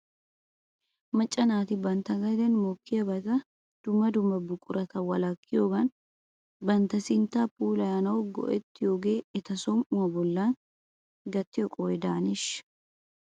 Macca naati bantta gaden mokkiyaabata dumma dumma buquratuura wolakkiyoogan bantta sinttaa puulayanaw go'ettiyoogee eta som"uwaa bollan gattiyoo qohoy de'eneeshsha ?